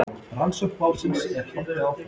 Rannsókn málsins er haldið áfram